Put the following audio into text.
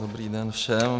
Dobrý den všem.